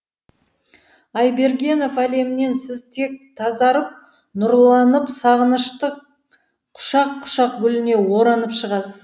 айбергенов әлемінен сіз тек тазарып нұрланып сағыныштың құшақ құшақ гүліне оранып шығасыз